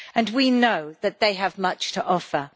We know that they have much to offer.